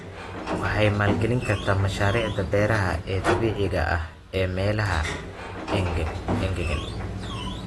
Waxay maalgelin kartaa mashaariicda beeraha ee dabiiciga ah ee meelaha engegan.